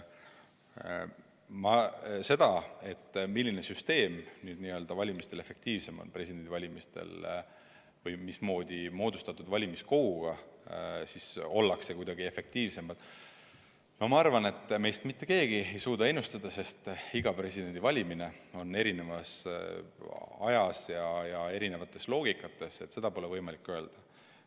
Seda, milline süsteem presidendivalimistel efektiivsem on või mismoodi moodustatud valimiskoguga kuidagi efektiivsemad ollakse, ma arvan, et seda meist mitte keegi ei suuda ennustada, sest kõik presidendivalimised toimuvad eri ajal ja erisuguses kontekstis, nii et seda pole võimalik öelda.